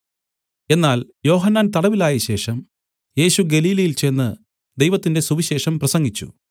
എന്നാൽ യോഹന്നാൻ തടവിൽ ആയശേഷം യേശു ഗലീലയിൽ ചെന്ന് ദൈവത്തിന്റെ സുവിശേഷം പ്രസംഗിച്ചു